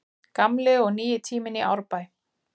Gamli og nýi tíminn í Árbæ